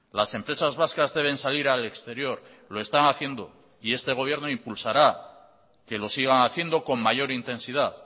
las empresas vascas deben salir al exterior lo están haciendo y este gobierno impulsará que lo sigan haciendo con mayor intensidad